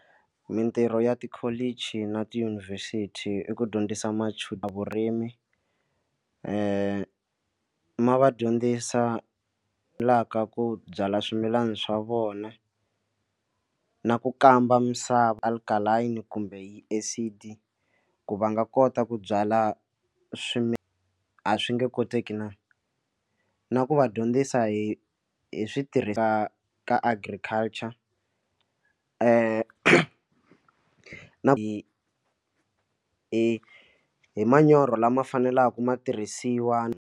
Mitirho ya tikholichi na tiyunivhesiti i ku dyondzisa machudeni vurimi ma va dyondzisa la ka ku byala swimilana swa vona na ku kamba misava alkaline kumbe acid ku va nga kota ku byala swimi a swi nge koteki na, na ku va dyondzisa hi hi switirhisa ka agriculture hi hi hi manyoro lama faneleke matirhisiwa.